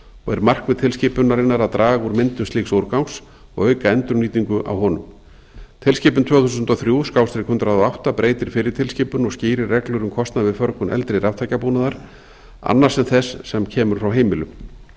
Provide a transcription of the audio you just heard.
og er markmið tilskipunarinnar að draga úr mengun slíks úrgangs og auka endurnýtingu á honum tilskipun tvö þúsund og þrjú hundrað og átta breytir fyrri tilskipun og skýrir reglur um kostnað við förgun eldri raftækjabúnaðar annars en þess sem kemur frá heimilum